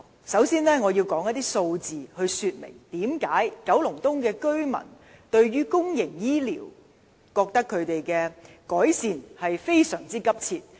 首先，我要提出一些數字，說明為何九龍東居民認為區內公營醫療服務的改善實在非常急切。